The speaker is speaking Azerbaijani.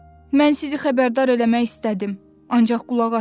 Mən sizi xəbərdar eləmək istədim, ancaq qulaq asmadız.